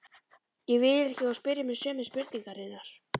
Ég vil ekki að þú spyrjir mig sömu spurningarinnar.